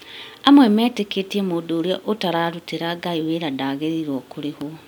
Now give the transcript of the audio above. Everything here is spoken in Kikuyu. Amwe meetĩkĩtie mũndũ ũrĩa ũtarutĩra Ngai wĩra ndagĩrĩirwo kũrĩhwo